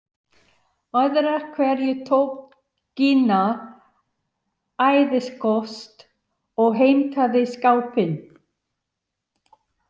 Öðru hverju tók Gína æðisköst og heimtaði skápinn.